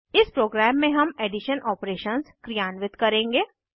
इस प्रोग्राम में हम एडिशन ऑपरेशंस क्रियान्वित करेंगे